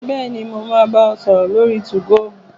Bẹ́ẹ̀ni, mo máa bá ọ sọ̀rọ̀ lórí 2go